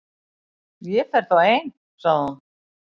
Ég fer þá ein- sagði hún.